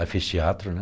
Aí fiz teatro, né?